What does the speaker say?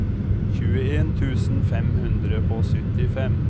tjueen tusen fem hundre og syttifem